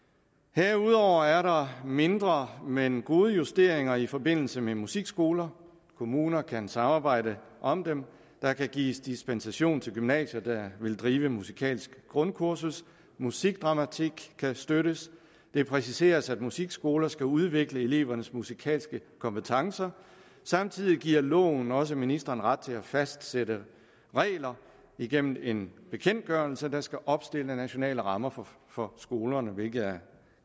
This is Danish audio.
herudover er der mindre men gode justeringer i forbindelse med musikskoler kommuner kan samarbejde om dem der kan gives dispensation til gymnasier der vil drive musikalske grundkurser musikdramatik kan støttes det præciseres at musikskoler skal udvikle elevernes musikalske kompetencer samtidig giver loven også ministeren ret til at fastsætte regler igennem en bekendtgørelse der skal opstille nationale rammer for for skolerne hvilket er